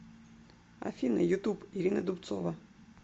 афина ютуб ирина дубцова